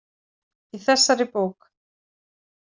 Í þessari bók.